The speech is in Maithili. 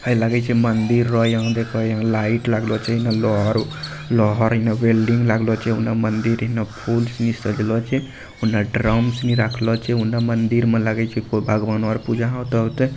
हई लगइ छै मंदिर रओ इहाँ देख इहाँ लाइट लागलो छै इहाँ वेल्डिंग लागलो छै उन्ना मंदिर हीना उन्ने फूल से सजलो छै उन्ने ड्रम्स ना राखलो छै उन्ना मंदिर में लागयो छै कोई भगवान और पूजा होते-होते।